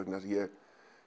ég